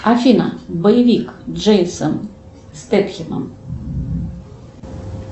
афина боевик джейсон стетхемом